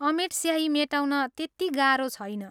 अमेट स्याही मेटाउन त्यति गाह्रो छैन।